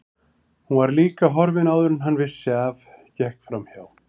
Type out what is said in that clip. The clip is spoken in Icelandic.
Hún var líka horfin áður en hann vissi af, gekk framhjá